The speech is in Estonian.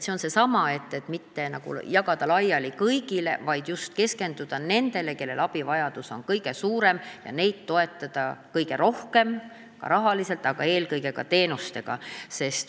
See on seesama mõte, et mitte jagada laiali kõigile, vaid just keskenduda nendele, kellel abivajadus on kõige suurem, ja neid toetada kõige rohkem, ka rahaliselt, aga eelkõige teenustega.